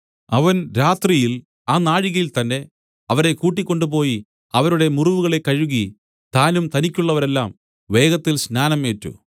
അവൻ രാത്രിയിൽ ആ നാഴികയിൽത്തന്നെ അവരെ കൂട്ടിക്കൊണ്ടുപോയി അവരുടെ മുറിവുകളെ കഴുകി താനും തനിക്കുള്ളവരെല്ലാവരും വേഗത്തിൽ സ്നാനം ഏറ്റു